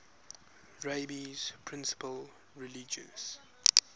rabbi's principal religious